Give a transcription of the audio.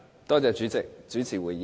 多謝主席主持會議。